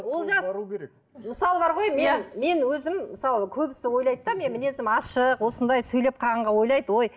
олжас мысалы бар ғой мен мен өзім мысалы көбісі ойлайды да мінезім ашық осындай сөйлеп қалғанға ойлайды ой